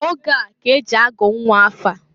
Oge a k'e ji agụ nnwa afa.